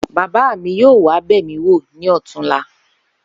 Bàbá mi yóò wá bè̩míwò ní ò̩túnla